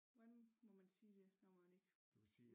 Hvordan må man sige det når man ikke